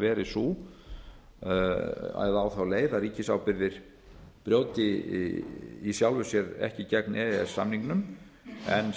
verið á þá leið að ríkisábyrgðir brjóti í sjálfu sér ekki gegn e e s samningnum